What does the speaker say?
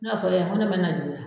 N'a fɔla i ye maa min mana na.